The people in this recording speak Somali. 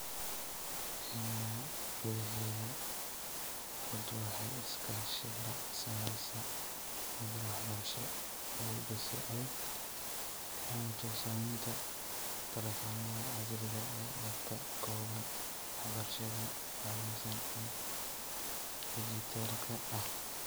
Kenya gudaheeda, xuddu waxay iskaashi la samaysay madal waxbarasho EIDU si ay u fahamto saamaynta taleefannada casriga ah ee ka kooban waxbarashada habaysan ee dhijitaalka ah.